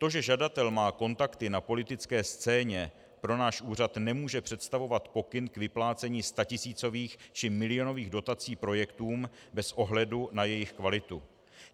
To, že žadatel má kontakty na politické scéně, pro náš úřad nemůže představovat pokyn k vyplácení statisícových či milionových dotací projektům bez ohledu na jejich kvalitu.